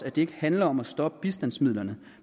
at det ikke handler om at stoppe bistandsmidlerne